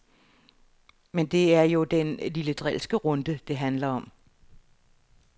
Men det er jo den lille drilske runde, det handler om.